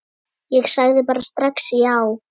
Ég sagði bara strax já.